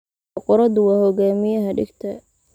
Boqoradu waa hogaamiyaha dhegta.